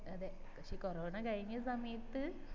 അതെ പക്ഷെ കൊറോണ കഴിഞ്ഞ സമയത്ത്